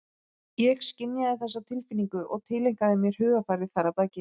Ég skynjaði þessa tilfinningu og tileinkaði mér hugarfarið þar að baki.